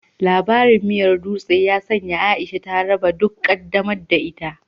Labarin miyar dutse ya sanya Aisha ta raba duk ƙaddamar da ita.